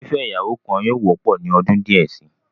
Fífẹ́ ìyàwó kan yóò wọ́pọ̀ ní ọdún díẹ̀ si.